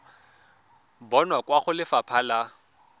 bonwa kwa go lefapha la